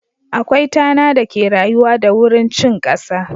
Akwai tana da ke rayuwa da wurin cin kasa.